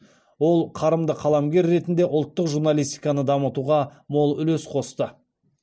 ол қарымды қаламгер ретінде ұлттық журналистиканы дамытуға мол үлес қосты